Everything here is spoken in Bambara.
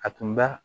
A tun ba